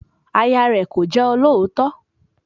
Aya rẹ̀ kò jẹ́ olóòótọ́